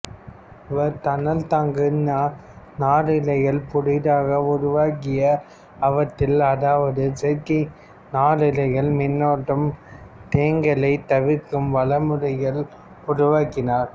இவர் தணல்தாங்கு நாரிழைகள் புதிதாக உருவாக்கி அவற்றில் அதாவது செயற்கை நாரிழைகளில் மின்னேற்றம் தேங்கலைத் தவிர்க்கும் வழிமுறைகளை உருவாக்கினார்